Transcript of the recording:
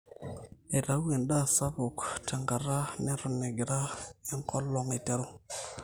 eitau endaa sapuk tenkata neton egira enkolong aiterru